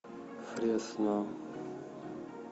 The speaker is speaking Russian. фресно